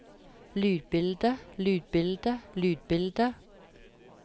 lydbildet lydbildet lydbildet